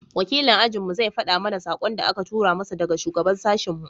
wakilin ajin mu zai fada mana sakon da a ka tura mishi daga shugaban sashin mu